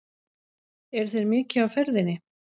Eru þeir mikið á ferðinni?